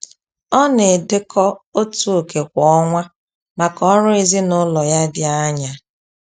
Ọ na-edekọ otu oké kwa ọnwa maka ọrụ ezinaụlọ ya dị anya